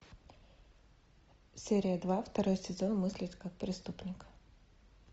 серия два второй сезон мыслить как преступник